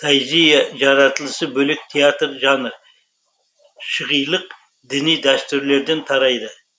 тайзийе жаратылысы бөлек театр жанры шығилық діни дәстүрлерден тарайды